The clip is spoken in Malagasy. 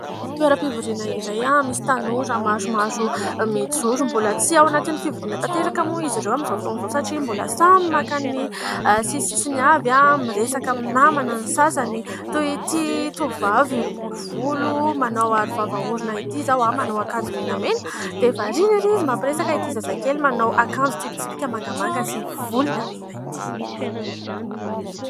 Toeram-pivoriana iray misy tanora maromaro mijoro. Mbola tsy ao anatin'ny fivoriana tanteraka moa izy ireo amin'izao fotoana izao satria mbola samy maka ny sisisisiny avy. Miresaka amin'ny namana ny sasany, toy ity tovovavy bory volo manao aro vava-orona ity izao manao akanjo menamena dia varina ery izy mampiresaka ity zazakely manao akanjo tsipitsipika mangamanga sy volondavenona ity.